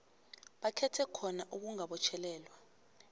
bakhetha khona ukungabotjhelelwa